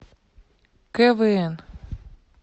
квн